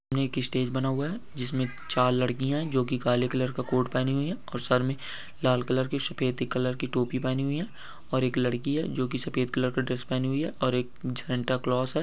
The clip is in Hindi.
एक स्टेज बना हुआ हे जिसमे चार लडकी हे जोकी काले कलर का कोट पेहनी हुई हे और सर में लाल कलर की सफेदी कलर की टोपी पेहनी हुई हे और एक लडकी हे जो की सफेद कलर का ड्रेस पहणी हुई हे और एक सेन्टा क्लज हे।